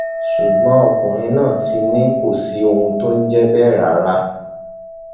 ṣùgbọn ọkùnrin náà ti ní kò sí ohun tó jọ bẹẹ rárá